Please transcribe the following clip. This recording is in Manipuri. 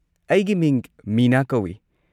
ꯑꯩꯒꯤ ꯃꯤꯡ ꯃꯤꯅꯥ ꯀꯧꯏ꯫